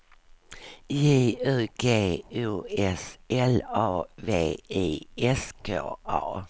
J U G O S L A V I S K A